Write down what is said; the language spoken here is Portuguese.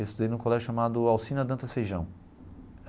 Eu estudei num colégio chamado Alcina Dantas Feijão.